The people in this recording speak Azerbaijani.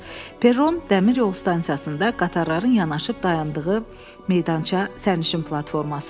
Perron, dəmiryol stansiyasında qatarların yanaşıb dayandığı meydança, sərnişin platformasıdır.